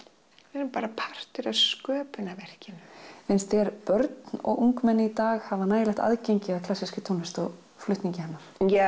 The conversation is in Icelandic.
við erum bara partur af sköpunarverkinu finnst þér börn og ungmenni í dag hafa nægilegt aðgengi að klassískri tónlist og flutningi hennar ja